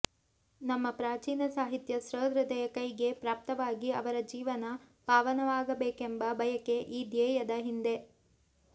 ನಮ್ಮ ಪ್ರಾಚೀನ ಸಾಹಿತ್ಯ ಸಹೃದಯರ ಕೈಗೆ ಪ್ರಾಪ್ತವಾಗಿ ಅವರ ಜೀವನ ಪಾವನವಾಗಬೇಕೆಂಬ ಬಯಕೆ ಈ ಧ್ಯೇಯದ ಹಿಂದೆ